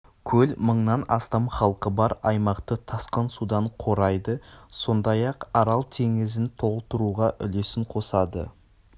көл мыңнан астам халқы бар аймақты тасқын судан қорайды сондай-ақ арал теңізін толтыруға үлесін қосады